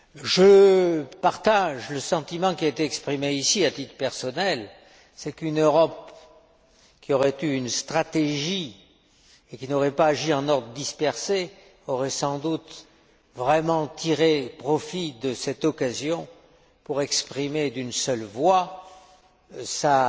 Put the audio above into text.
Je partage le sentiment qui a été exprimé ici, à titre personnel une Europe qui aurait eu une stratégie et qui n'aurait pas agi en ordre dispersé aurait sans doute vraiment tiré profit de cette occasion pour exprimer d'une seule voix sa